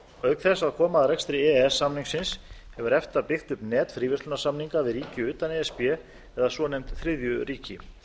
auk þess að koma að rekstri e e s samningsins hefur efta byggt upp net fríverslunarsamninga við ríki utan e s b eða svonefnd þriðju ríki